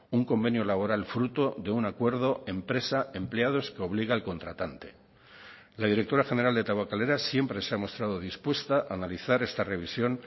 un convenio laboral fruto de un acuerdo empresa empleados que obliga al contratante la directora general de tabakalera siempre se ha mostrado dispuesta a analizar esta revisión